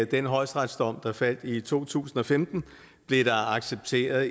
den højesteretsdom der faldt i to tusind og femten blev der accepteret